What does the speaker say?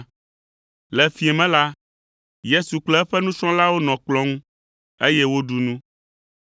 Le fiẽ me la, Yesu kple eƒe nusrɔ̃lawo nɔ kplɔ̃ ŋu, eye woɖu nu.